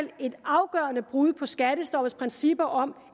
det brud på skattestoppets princip om